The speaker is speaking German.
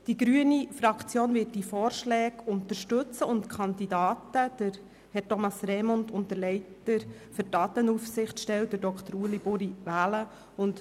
Die grüne Fraktion wird diese Vorschläge unterstützen und die Kandidaten Herr Thomas Remund und als Leiter der Datenaufsichtsstelle Herrn Dr. Ueli Buri wählen.